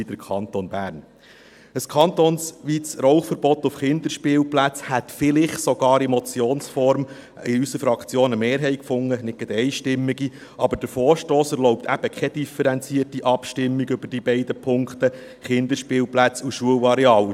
Ein kantonsweites Rauchverbot auf Kinderspielplätzen hätte vielleicht in Motionsform in unserer Fraktion sogar eine Mehrheit gefunden – nicht gerade eine einstimmige –, aber der Vorstoss erlaubt eben keine differenzierte Abstimmung über die beiden Punkte, Kinderspielplätze und Schulareale.